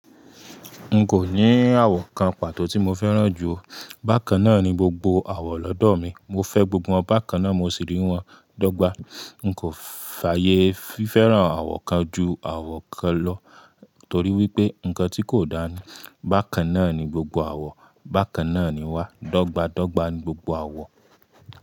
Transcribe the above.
N kò ní àwọ̀ kan pàtó tí mo fẹ́ràn jù o. Bákan náà ni gbogbo àwọ̀ lọ́dọ̀ mi. Mo fẹ́ gbogbo wọn bakan náà mo sì rí wọn dọ́gba. N kò fààyè fi fẹ́ràn àwọ̀ kan ju àwọ̀ kan lọ torí wípé nǹkan tí kò dáa ni. Bákan náà ni gbogbo àwọ̀. Bákan náà ni wá. Dọ́gba dọ́gba ni gbogbo àwọ̀